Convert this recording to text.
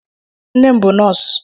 Nne m bụ nọọsụ.